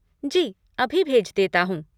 जी अभी भेज देता हूँ!